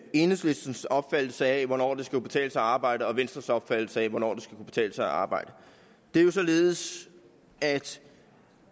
enhedslistens opfattelse af hvornår der skal kunne betale sig at arbejde og venstres opfattelse af hvornår det betale sig at arbejde det er jo således at